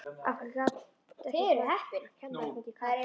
Af hverju gat ekki bara kennarinn fengið kast?